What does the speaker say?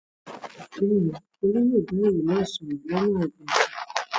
Bẹ́ẹ̀ ni, Olú yóò bá èrò náà sọ̀rọ̀ lọ́nà àìgbẹ̀fẹ̀.